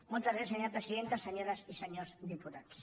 moltes gràcies senyora presidenta senyores i senyors diputats